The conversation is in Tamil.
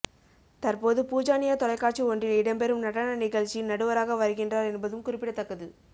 தற்போது பூஜா னியார் தொலைக்காட்சி ஒன்றில் இடம்பெரும் நடன நிகழ்ச்சியில் நடுவராக வருகின்றார் என்பதும் குறிப்பிடத்தக்கது